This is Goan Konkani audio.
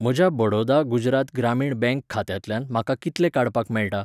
म्हज्या बडौदा गुजरात ग्रामीण बँक खात्यांतल्यान म्हाका कितले काडपाक मेळटा?